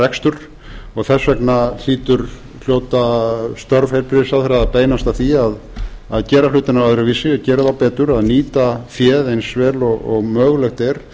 rekstur og þess vegna hljóta störf heilbrigðisráðherra að beinast að því að gera hlutina öðruvísi gera þá betur að nýta féð eins vel og mögulegt er